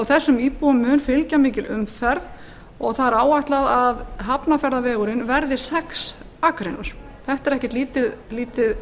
þessum íbúum mun fylgja mikil umferð og það er áætlað að hafnarfjarðarvegurinn verði sex akreinar þetta er ekkert lítið